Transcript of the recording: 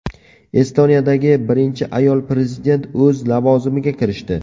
Estoniyadagi birinchi ayol prezident o‘z lavozimiga kirishdi.